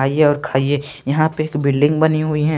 आइए और खाइए यहाँ पे एक बिल्डिंग बनी हुई है।